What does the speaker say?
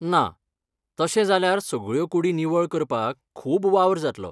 ना, तशें जाल्यार सगळ्यो कुडी निवळ करपाक खूब वावर जातलो.